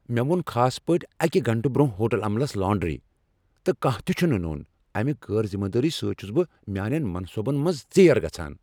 مےٚ ووٚن خاص پٲٹھۍ اكہِ گنٹہ برونہہ ہوٹل عملس لانڈری ، تہٕ کانہہ تہِ چُھنہٕ نوٚن ۔امہِ غیر ذِمہٕ دٲری سٕتۍ چُھس بہٕ میانین منصوبن منز ژیر گژھان ۔